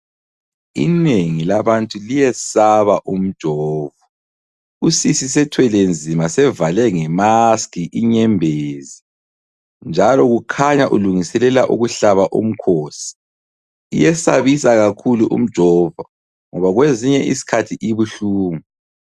Inengi labantu liyesaba umjovo. Usisi sethwelenzima sevale ngemaski inyembezi, njalo ukhanya ulungiselela ukuhlaba umkhosi. Iyesabisa kakhulu umjovo ngoba kwezinye isikhathi ibuhlungu.